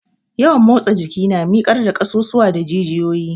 Yawan motsa jiki na mikar da ƙasusuwa da jijiyoyi.